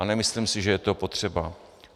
A nemyslím si, že je to potřeba.